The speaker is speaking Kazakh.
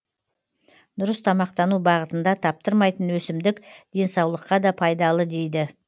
дұрыс тамақтану бағытында таптырмайтын өсімдік денсаулыққа да пайдалы дейді